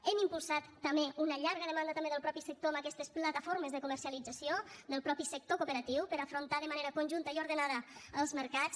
hem impulsat també una llarga demanda també del mateix sector amb aquestes plataformes de comercialització del mateix sector cooperatiu per a afrontar de manera conjunta i ordenada els mercats